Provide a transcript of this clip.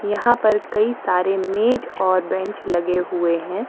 यहां पर कई सारे मेज और बेंच लगे हुए हैं।